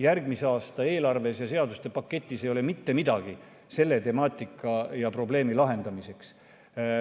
Järgmise aasta eelarves ja seaduste paketis ei ole mitte midagi selle temaatika ja probleemi lahendamiseks.